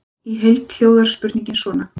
Í heild hljóðar spurningin svona: